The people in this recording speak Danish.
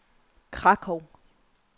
Krakow